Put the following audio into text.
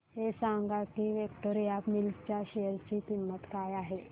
हे सांगा की विक्टोरिया मिल्स च्या शेअर ची किंमत काय आहे